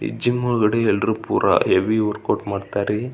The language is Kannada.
ಈ ಜಿಮ್ ಒಳಗಡೆ ಎಲ್ಲರು ಪುರಾ ಹೆವಿ ವರ್ಕೌಟ್ ಮಾಡತ್ತರಿ.